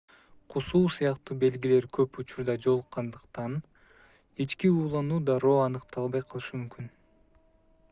кусуу сыяктуу белгилер көп учурда жолуккандыктан ички уулануу дароо аныкталбай калышы мүмкүн